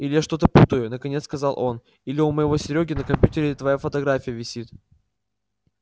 или я что-то путаю наконец сказал он или у моего серёги на компьютере твоя фотография висит